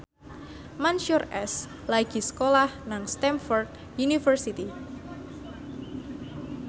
Mansyur S lagi sekolah nang Stamford University